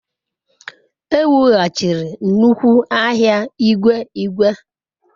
E wughachiri nnukwu ahịa igwe igwe.